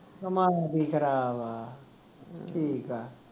ਕਮਾਦ ਈ ਖਰਾਬ ਠੀਕ ਆ